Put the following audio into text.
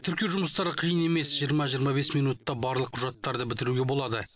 тіркеу жұмыстары қиын емес жиырма жиырма бес минутта барлық құжаттарды бітіруге болады